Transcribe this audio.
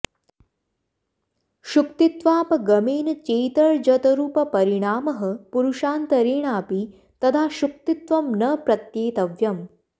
शुक्तित्वापगमेन् चेत् र्जतरुपपरिणामः पुरुषान्तरेणापि तदा शुक्तित्वं न प्रत्येतव्यम्